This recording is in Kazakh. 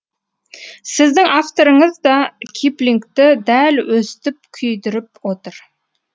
сіздің авторыңыз да киплингті дәл өстіп күйдіріп отыр